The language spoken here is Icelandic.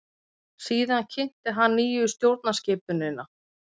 Síðan kynnti hann nýju stjórnarskipunina.